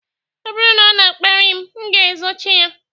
Ọ bụrụ na ọ na-akparị m, m ga-ezochi ya